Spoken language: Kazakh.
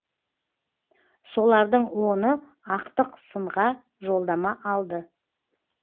солардың оны ақтық сынға жолдама алды